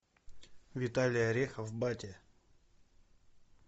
виталий орехов батя